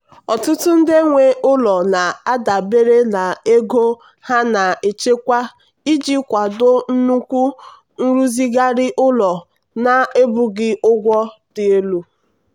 ọtụtụ ndị nwe ụlọ na-adabere na ego ha na-echekwa iji kwado nnukwu nrụzigharị ụlọ na-ebughị ụgwọ dị elu.